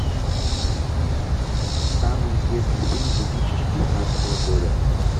самый известный фильм две тысячи девятнадцатого года